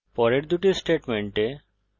পরের দুটি স্টেটমেন্টে